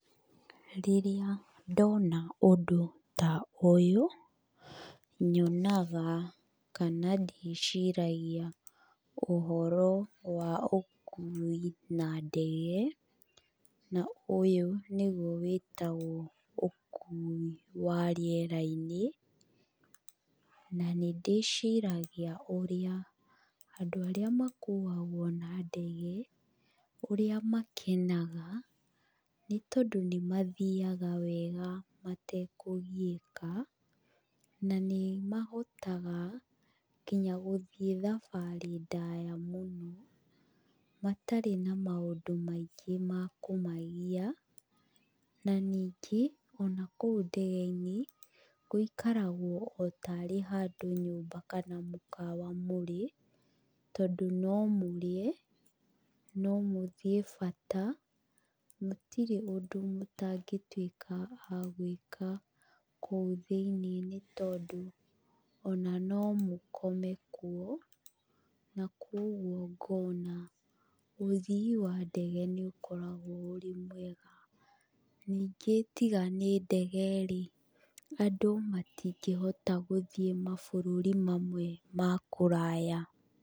Rĩrĩa ndona ũndũ ta ũyũ nyonaga kana ndĩciragia ũhoro wa ũkui na ndege, na ũyũ nĩguo wĩtagwo ũkui wa rĩera-inĩ, na nĩ ndĩciragia ũrĩa andũ arĩa makuagwo na ndege, ũrĩa makenaga nĩ tondũ nĩ mathiaga wega matekũgiĩka, na nĩ mahotaga nginya gũthiĩ thabarĩ ndaya mũno matarĩ na maũndũ maingĩ ma kũmagia, na ningĩ, ona kũu ndege-inĩ, gũikaragwo o tarĩ handũ nyũmba kana mũkawa mũrĩ, tondũ no mũrĩe, no mũthiĩ bata, gũtirĩ ũndũ mũtangĩtuĩka a gwĩka kũu thĩinIĩ nĩ tondũ ona no mũkome kuo na koguo ngona ũthii wa ndege nĩ ũkoragwo ũrĩ mwega, ningĩ tiga nĩ ndege rĩ, andũ matingĩhota gũthiĩ mabũrũri mamwe ma kũraya.